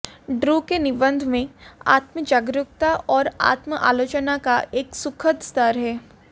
Drew के निबंध में आत्म जागरूकता और आत्म आलोचना का एक सुखद स्तर है